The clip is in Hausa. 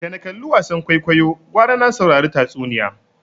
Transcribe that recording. Da na kalli wasan kwaikwayo gwara na saurari tatsuniya